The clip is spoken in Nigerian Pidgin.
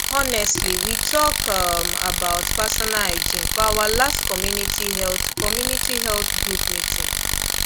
honestly we talk um about personal hygiene for our last community health community health group meeting